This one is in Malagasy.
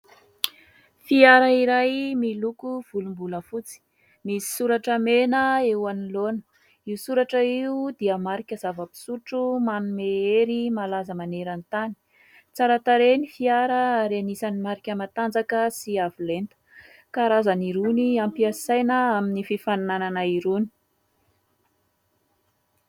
Fiara iray miloko volombolafotsy, misy soratra mena eo anoloana : io soratra io dia marika zava-pisotro manome hery, malaza maneran-tany tsara tarehy ny fiara ary anisan'ny marika matanjaka sy avolenta karazany roa ny ampiasaina amin'ny fifaninanana irony.